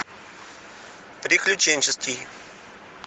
приключенческий